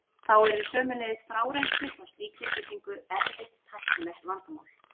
Þá yrði sömuleiðis frárennsli frá slíkri byggingu erfitt tæknilegt vandamál.